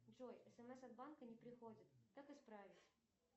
джой смс от банка не приходит как исправить